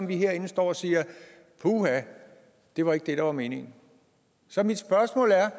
vi herinde står og siger puha det var ikke det der var meningen så mit spørgsmål er